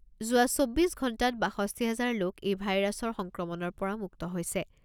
যোৱা চৌব্বিছ ঘণ্টাত বাষষ্ঠি হাজাৰ লোক এই ভাইৰাছৰ সংক্ৰমণৰ পৰা মুক্ত হৈছে।